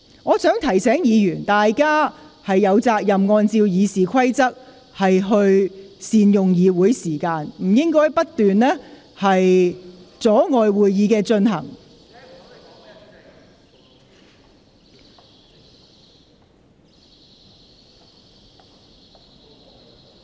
我想提醒議員，大家有責任按照《議事規則》善用會議時間，不應該不斷阻礙會議進行。